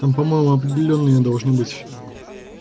там по-моему определённая должна быть